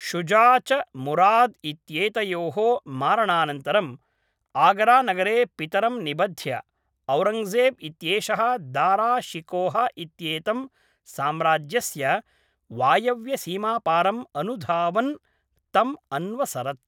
शुजा च मुराद् इत्येतयोः मारणानन्तरम् आगरानगरे पितरं निबध्य, औरङ्गजेब् इत्येषः दारा शिकोह इत्येतं साम्राज्यस्य वायव्यसीमापारम् अनुधावन् तम् अन्वसरत्